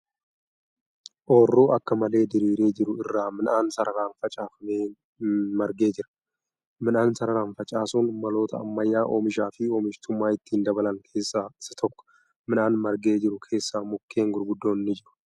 Ooyiruu akka malee diriiree jiru irra midhaan sararaan facaafamee nargee jira. Midhaan sararaan facaasuun maloota ammayyaa oomishaa fi oomishtummaa ittiin dabalan keessa isa tokko. Midhaan margee jiru keessa mukkeen gurguddoon ni jiru.